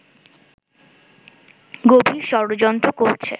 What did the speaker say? গভীর ষড়যন্ত্র করছে